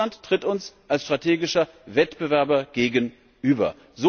Russland tritt uns als strategischer Wettbewerber gegenüber.